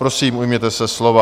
Prosím, ujměte se slova.